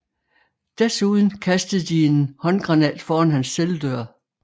Desuden kastede de en håndgranat foran hans celledør